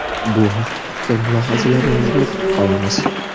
Bu haqda fikr-mulohazalaringizni kutib qolamiz.